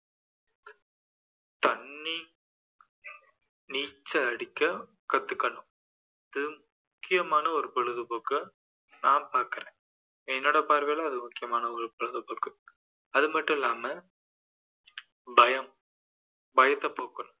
நீச்சல் அடிக்க கத்துக்கணும் இது முக்கியமான ஒரு பொழுதுபோக்கா நான் பார்க்குறேன் என்னோட பார்வையில அது முக்கியமான ஒரு பொழுதுபோக்கு அதுமட்டும் இல்லாம பயம் பயத்தை போக்கணும்